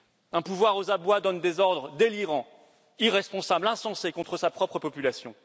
Un pouvoir aux abois donne des ordres délirants, irresponsables, insensés contre sa propre population.